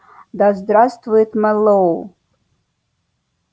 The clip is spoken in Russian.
да здравствует мэллоу